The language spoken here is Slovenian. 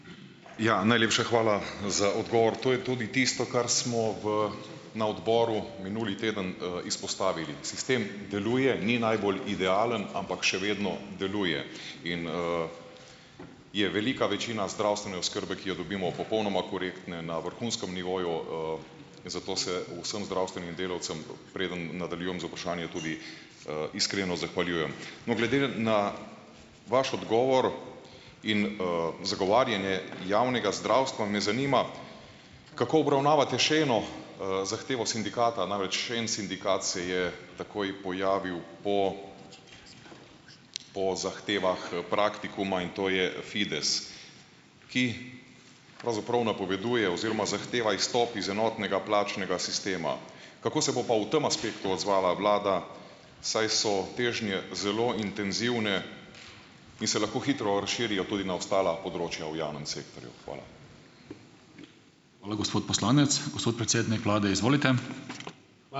Ja, najlepša hvala za odgovor. To je tudi tisto, kar smo v na odboru minuli teden, izpostavili. Sistem deluje, ni najbolj idealen, ampak še vedno deluje in, je velika večina zdravstvene oskrbe, ki jo dobimo popolnoma korektne na vrhunskem nivoju, zato se vsem zdravstvenim delavcem, preden nadaljujem z vprašanjem, tudi, iskreno zahvaljujem. No, glede, na vaš odgovor in, zagovarjanje javnega zdravstva, me zanima, kako obravnavate še eno, zahtevo sindikata, namreč še en sindikat se je takoj pojavil po po zahtevah, Praktikuma in to je Fides, ki pravzaprav napoveduje oziroma zahteva izstop iz enotnega plačnega sistema. Kako se bo pa v tem aspektu odzvala vlada, saj so težnje zelo intenzivne in se lahko hitro razširijo tudi na ostala področja v javnem sektorju? Hvala. Hvala, gospod poslanec. Gospod predsednik vlade, izvolite. ...